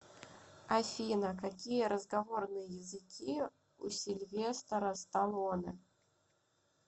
афина какие разговорные языки у сильвестора сталоне